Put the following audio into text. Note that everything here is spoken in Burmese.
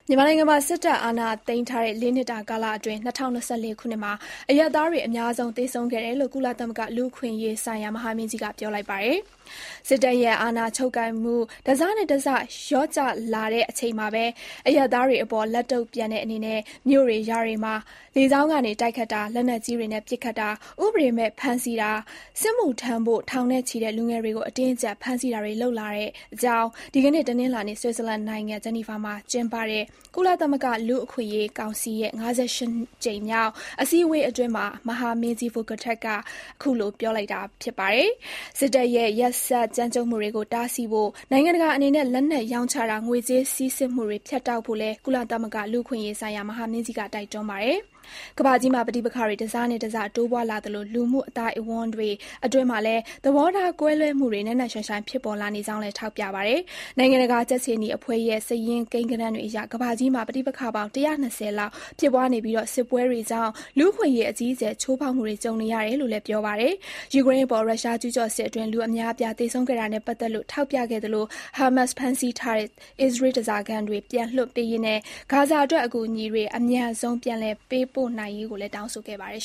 မြန်မာနိုင်ငံမှာ စစ်တပ်အာဏာသိမ်းထားတဲ့ (၄) နှစ်တာ ကာလအတွင်း ၂၀၂၄ ခုနှစ်မှာ အရပ်သားတွေ အများဆုံး သေဆုံးခဲ့တယ်လို့ ကုလသမဂ္ဂ လူ့အခွင့်အရေးဆိုင်ရာ မဟာမင်းကြီးက ပြောလိုက်ပါတယ်။ စစ်တပ်ရဲ့ အာဏာချုပ်ကိုင်မှု တစတစလျော့ကျလာချိန်မှာပဲ အရပ်သားတွေအပေါ် လက်တုံ့ပြန်တဲ့ အနေနဲ့ မြို့တွေ၊ ရွာတွေမှာ လေကြောင်းကနေတိုက်ခိုက်တာ၊ လက်နက်ကြီးတွေနဲ့ ပစ်ခတ်တာ၊ ဥပဒေမဲ့ဖမ်းဆီးတာ၊ စစ်မှုထမ်းဖို့ ထောင်နဲ့ချီတဲ့ လူငယ်တွေကို အတင်းအကြပ် ဖမ်းဆီးတာတွေ လုပ်လာကြောင်း ဒီကနေ့ တနင်္လာနေ့ ဆွစ်ဇာလန်နိုင်ငံ ဂျနီဗာမှာကျင်းပတဲ့ ကုလသမဂ္ဂ လူ့အခွင့်အရေးကောင်စီရဲ့ ၅၈ ကြိမ်မြောက် အစည်းအဝေးအတွင်း မဟာမင်းကြီး Volker Türk က ခုလို ပြောလိုက်တာပါ။ စစ်တပ်ရဲ့ ရက်စက်ကြမ်းကြုတ်မှုတွေကို တားဆီးဖို့ နိုင်ငံတကာအနေနဲ့ လက်နက်ရောင်းချတာ၊ ငွေကြေးစီးဆင်းမှုတွေ ဖြတ်တောက်ဖို့လည်း ကုလသမဂ္ဂ လူ့အခွင့်အရေးဆိုင်ရာ မဟာမင်းကြီး Volker Türk က တိုက်တွန်းပါတယ်။ ကမ္ဘာကြီးမှာ ပဋိပက္ခတွေ တစတစ တိုးပွားလာသလို လူမှုအသိုင်းအဝိုင်း အတွင်းမှာလည်း သဘောထားကွဲလွဲမှုတွေ နက်နက်ရှိုင်းရှိုင်း ဖြစ်ပေါ်နေကြောင်းလည်း ထောက်ပြပါတယ်။ နိုင်ငံတကာ ကြက်ခြေနီအဖွဲ့ရဲ့ စာရင်းကိန်းဂဏန်းတွေအရ ကမ္ဘာကြီးမှာ ပဋိပက္ခပေါင်း (၁၂၀) လောက် ဖြစ်ပွားနေပြီး စစ်ပွဲတွေကြောင့် လူ့အခွင့်အရေး အကြီးအကျယ် ချိုးဖောက်မှုတွေ ကြုံရတယ်လို့လည်း ပြောပါတယ်။ ယူကရိန်းအပေါ် ရုရှားကျူးကျော်စစ်အတွင်း လူအများအပြား သေဆုံးခဲ့တာနဲ့ပတ်သက်လို့ ထောက်ပြခဲ့ သလို ဟာမတ်စ်ဖမ်းဆီးထားတဲ့ အစ္စရေး ဓါးစာခံတွေ ပြန်လွှတ်ပေးရေးနဲ့ ဂါဇာအတွက် အကူအညီတွေ အမြန်ဆုံး ပြန်လည်ပေးပို့နိုင်ရေးကိုလည်း တောင်းဆိုခဲ့ပါတယ်